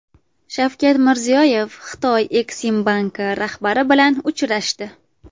Shavkat Mirziyoyev Xitoy Eksimbanki rahbari bilan uchrashdi.